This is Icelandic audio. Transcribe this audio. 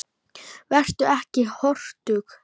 Vertu ekki hortug.